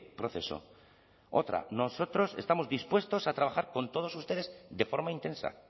proceso otra nosotros estamos dispuestos a trabajar con todos ustedes de forma intensa